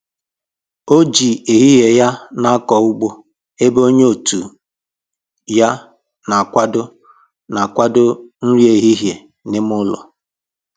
O ji ehihie ya na akọ ụgbọ ebe onye otu ya na akwado na akwado nri ehihie n'ime ụlọ